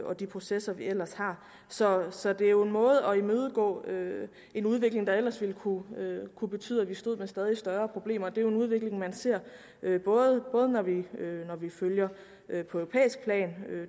og de processer vi ellers har så så det er jo en måde at imødegå en udvikling på der ellers ville kunne betyde at vi stod med stadig større problemer det er jo en udvikling vi ser både når vi følger det på europæisk plan